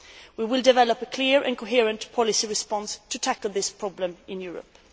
We will develop a clear and coherent policy response to tackle this problem in Europe.